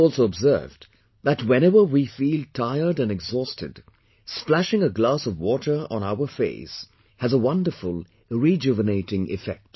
You might have also observed that whenever we feel tired and exhausted, splashing a glass of water on our face has a wonderful rejuvenating effect